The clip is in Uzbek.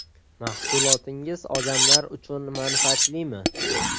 Mahsulotingiz odamlar uchun manfaatlimi?